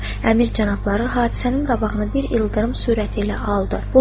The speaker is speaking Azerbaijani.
Əmir cənabları hadisənin qabağını bir ildırım sürəti ilə aldı.